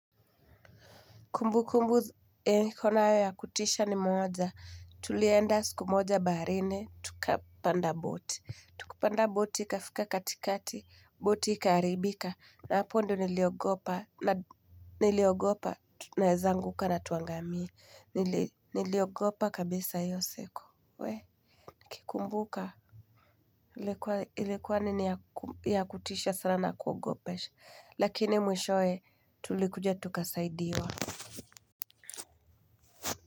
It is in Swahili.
Kumbukumbu niko nayo ya kutisha ni moja, tulienda siku moja baharini tukapanda boti, tukapanda boti ikafika katikati, boti ikaharibika, na hapo ndiyo niliogopa niliogopa tunaweza anguka na tuangamie, niliogopa kabisa hiyo siku, wee nikikumbuka nilikuwa ilikuwa nini ya kutisha sana na kuogopesha, lakini mwishowe tulikuja tukasaidiwa.